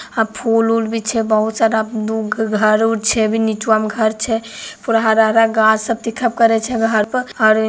औ फूल-उल भी छे बहुत सारा घर भी निचवा में घर छे पूरा सब हरा-हरा गाछ सब दिखल करे छे।